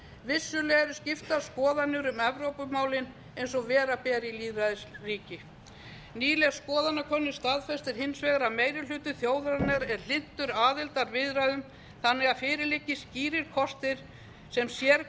vissulega eru skiptar skoðanir um evrópumálin eins og vera ber í lýðræðisríki nýleg skoðanakönnun staðfestir hins vegar að meiri hluti þjóðarinnar er hlynntur aðildarviðræðum þannig að fyrir liggi skýrir kostir sem